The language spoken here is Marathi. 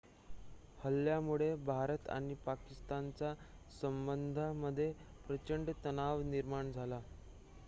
हल्ल्यामुळे भारत आणि पाकिस्तानच्या संबंधांमध्ये प्रचंड तणाव निर्माण झाला